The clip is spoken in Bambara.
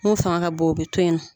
Mun fanga ka bon o bɛ to ye nɔ.